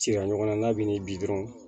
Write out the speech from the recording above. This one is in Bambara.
Cira ɲɔgɔn na n'a bɛ n'i bi dɔrɔnw